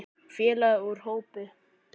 Félagi úr hópi